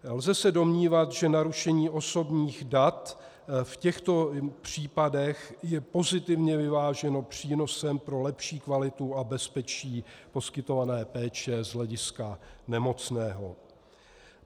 Lze se domnívat, že narušení osobních dat v těchto případech je pozitivně vyváženo přínosem pro lepší kvalitu a bezpečí poskytované péče z hlediska nemocného.